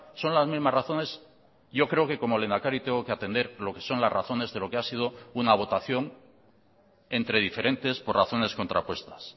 son las mismas razones yo creo que como lehendakari tengo que atender lo que son las razones de lo que ha sido una votación entre diferentes por razones contrapuestas